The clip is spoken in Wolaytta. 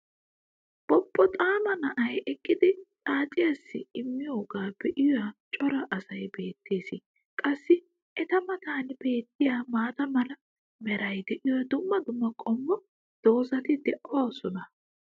bobboxaama na"ay eqqidi xaacciyaassi immiyogaa be'iya cora asay beetees. qassi eta matan beetiya maata mala meray diyo dumma dumma qommo dozzati doosona.